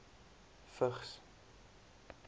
vigs